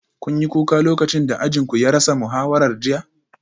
Kun yi kuka lokacin da ajin ku ya rasa muhawara jiya?